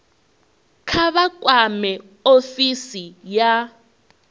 kha vha kwame ofisi ya